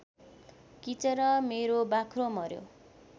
किचेर मेरो बाख्रो मर्‍यो